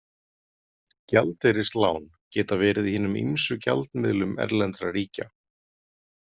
Gjaldeyrislán geta verið í hinum ýmsu gjaldmiðlum erlendra ríkja.